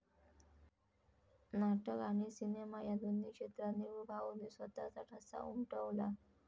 नाटक आणि सिनेमा या दोन्ही क्षेत्रात निळूभाऊंनी स्वतःचा ठसा उमटवला.